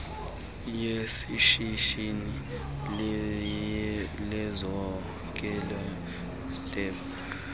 yeshishini lezokhenketho tep